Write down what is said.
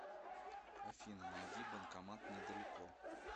афина найди банкомат недалеко